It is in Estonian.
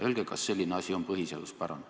Öelge, kas selline asi on põhiseaduspärane.